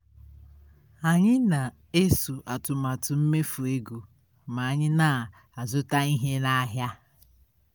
anyị na-eso atụmatụ mmefu ego ma anyi na-azụta ihe n'ahịa